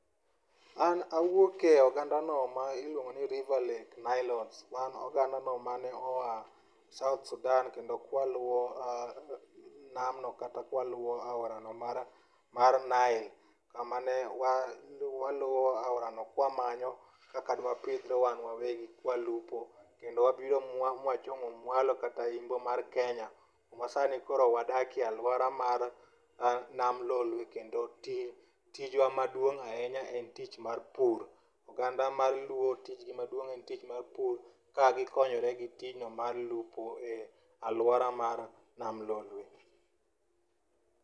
An awuokie ogandano ma iluongo ni river lake nilotes. Wan oganda mau mane oa south sudan kendo kwaluwo namno kata kwaluo aorano mar nile kama ne waluo aorano kwamanyo kaka dwapidhre wan wawegi kwalupo, kendo wabiro mwachomo mwalo kata imbo mar kenya kuma sani koro wadakie alwora mar nam lolwe kendo tijwa maduong' ahinya en tich mar pur. Oganda mar luo tijgi maduong' en tich mar pur kagikonyore gi tijno mar lupo e alwora mar nam lolwe.